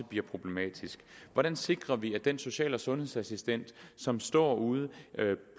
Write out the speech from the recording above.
bliver problematisk hvordan sikrer vi at den social og sundhedsassistent som står ude